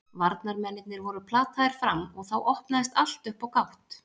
Varnarmennirnir voru plataðir fram og þá opnaðist allt upp á gátt.